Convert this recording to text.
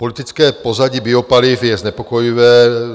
Politické pozadí biopaliv je znepokojivé.